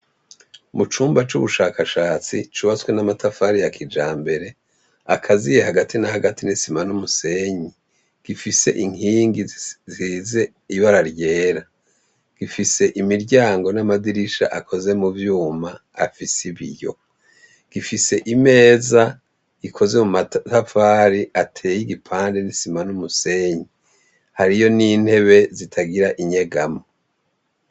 Mu cumba c'ubushakashatsi cubatswe n'amatafari yakija mbere akaziye hagati na hagati nisima n'umusenyi gifise inkingi zize ibara ryera gifise imiryango n'amadirisha akoze mu vyuma afise ibiyo gifise imeza ikoze mu matafari ateye igipande nisima n'umusenyi hariyo n'intebe zitagira inyegamo.